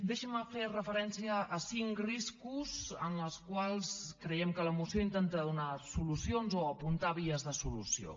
deixin me fer referència a cinc riscos als quals creiem que la moció intenta donar solucions o apuntar vies de solució